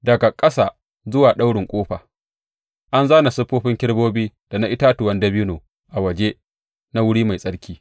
Daga ƙasa zuwa daurin ƙofa, an zāna siffofin kerubobi da na itatuwan dabino a waje na wuri mai tsarki.